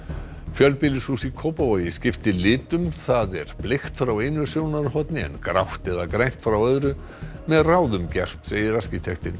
fjölbýlishús í Kópavogi skiptir litum það er bleikt frá einu sjónarhorni en grátt eða grænt frá öðru með ráðum gert segir arkitektinn